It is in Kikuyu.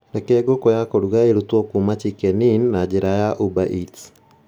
Reke ngũkũ ya kũruga ĩrutwo kuuma chicken inn na njĩra ya ubereats